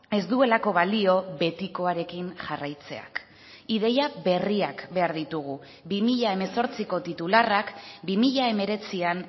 ez duelako balio betikoarekin jarraitzeak ideia berriak behar ditugu bi mila hemezortziko titularrak bi mila hemeretzian